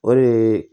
O de ye